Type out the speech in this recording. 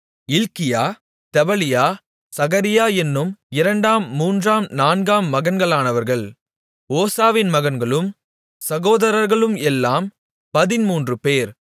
இல்க்கியா Tebaliah Zechariah என்னும் இரண்டாம் மூன்றாம் நான்காம் மகன்களானவர்கள் ஓசாவின் மகன்களும் சகோதரர்களும் எல்லாம் பதின்மூன்றுபேர்